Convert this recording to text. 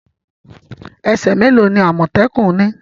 Ese me lo ni amotekun ni?